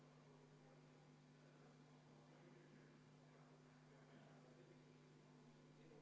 Oi jah, mul oli pikem kõne ka ette valmistatud, aga tundub, et see kõne tuleb üpris lühike.